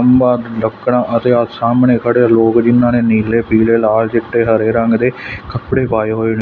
ਖੰਭਾਂ ਲੱਕੜਾਂ ਅਤੇ ਆਹ ਸਾਹਮਣੇ ਖੜੇਆ ਲੋਗ ਜਿਹਨਾਂ ਨੇ ਨੀਲੇ ਪੀਲੇ ਲਾਲ ਚਿੱਟੇ ਹਰੇ ਰੰਗ ਦੇ ਕੱਪੜੇ ਪਾਏ ਹੋਏ ਨੇ।